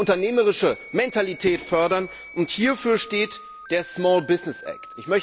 Wir müssen unternehmerische Mentalität fördern und hierfür steht der Small Business Act.